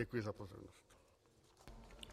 Děkuji za pozornost.